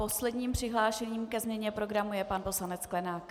Posledním přihlášeným ke změně programu je pan poslanec Sklenák.